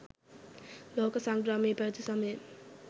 ලෝක සංග්‍රාමය පැවති සමයේ